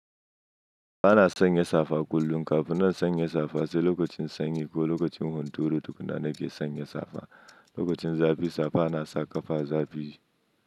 Ba na sanya safa kullum kafin na sanya safa, sai lokacin sanyi ko lokacin hunturu tukunna na ke sanya safa. Lokacin zafi safa na sa ƙata zafi.